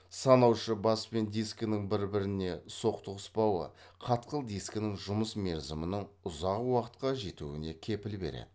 санаушы бас пен дискінің бір біріне соқтығыспауы қатқыл дискінің жұмыс мерзімінің ұзақ уақытқа жетуіне кепіл береді